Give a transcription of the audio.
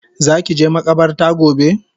Zaki je makabarta gobe?